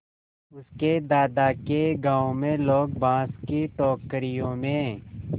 उसके दादा के गाँव में लोग बाँस की टोकरियों में